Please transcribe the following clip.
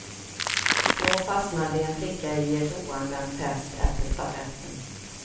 Då fastnade en flicka i ett oanmält test efter stafetten.